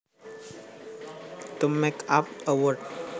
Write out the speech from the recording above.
To make up a word